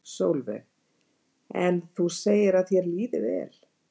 Sólveig: En þú segir að þér líði vel?